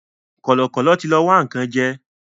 Kọ̀lọ̀kọ̀lọ̀ tí lọ wá nǹkan jẹ́